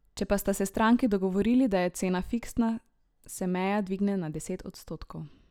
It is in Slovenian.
Če pa sta se stranki dogovorili, da je cena fiksna, se meja dvigne na deset odstotkov.